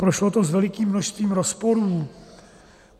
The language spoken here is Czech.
Prošlo to s velikým množstvím rozporů.